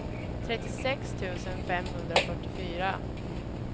trettiosex tusen femhundrafyrtiofyra